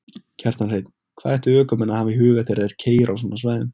Kjartan Hreinn: Hvað ættu ökumenn að hafa í huga þegar þeir keyra á svona svæðum?